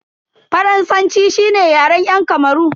Faransanci shine Yaren yan Kamaru.